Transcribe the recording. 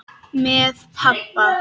Með pabba.